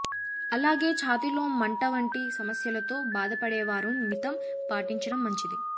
అలాగే ఛాతీలో మంట వంటి సమస్యలతో బాధపడేవారూ మితం పాటించటం మంచిది